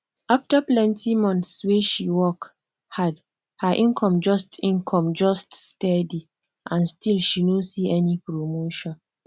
after plenty months wey she work hard her income just income just steady and still she no see any promotion